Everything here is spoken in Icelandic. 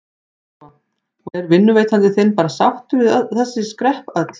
Lóa: Og er vinnuveitandi þinn bara sáttur við þessi skrepp öll?